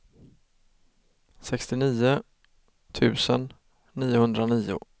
sextionio tusen niohundranio